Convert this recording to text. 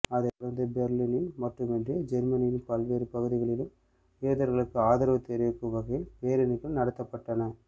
அதைத் தொடர்ந்து பெர்லினில் மட்டுமின்றி ஜேர்மனியின் பல்வேறு பகுதிகளிலும் யூதர்களுக்கு ஆதரவு தெரிவிக்கும் வகையில் பேரணிகள் நடத்தப்பட்டன